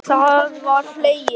Það var hlegið.